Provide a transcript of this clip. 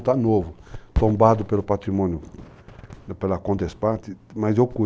Está novo, tombado pelo patrimônio, pela condesparte, mas eu cuido.